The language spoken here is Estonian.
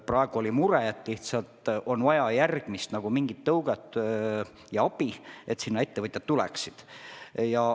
Praegu on mure, et lihtsalt on vaja järgmist tõuget või abi, et sinna ettevõtjad tuleksid.